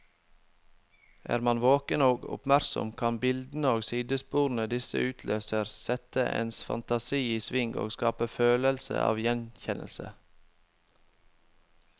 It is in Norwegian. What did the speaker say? Er man våken og oppmerksom, kan bildene og sidesporene disse utløser, sette ens fantasi i sving og skape følelse av gjenkjennelse.